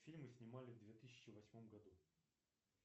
фильмы снимали в две тысячи восьмом году